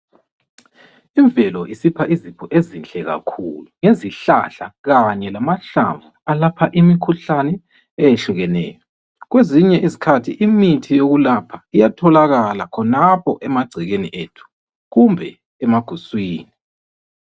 Imvelo isipha izipho ezinhle kakhulu. Izihlahla kanye lamahlamvu alapha imikhuhlane ehlukeneyo. Kwesinye isikhathi imithi yokwelapha iyatholakala khonapho emagcekeni ethu. Kumbe emaguswini.